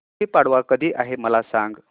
गुढी पाडवा कधी आहे मला सांग